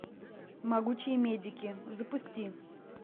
могучие медики запусти